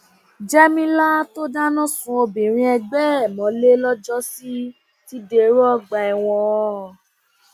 jẹmílà tó dáná sun obìnrin ẹgbẹ ẹ mọlẹ lọjọsí ti dèrò ọgbà ẹwọn